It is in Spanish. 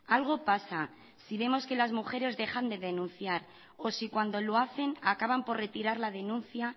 algo pasa si vemos que las mujeres dejan de denunciar o si cuando lo hacen acaban por retirar la denuncia